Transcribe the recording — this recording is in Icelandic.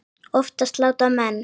Oftast láta menn